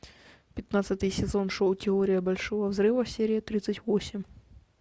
пятнадцатый сезон шоу теория большого взрыва серия тридцать восемь